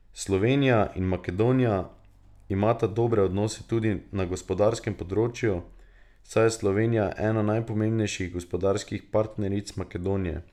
Slovenija in Makedonija imata dobre odnose tudi na gospodarskem področju, saj je Slovenija ena najpomembnejših gospodarskih partneric Makedonije.